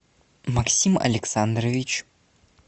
максим александрович